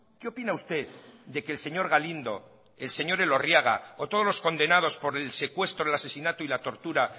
qué opina usted de que el señor galindo el señor elorriaga o todos los condenados por el secuestro el asesinato y la tortura